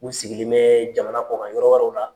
U sigilen bɛ jamana kɔkan yɔrɔ wɛrɛw la.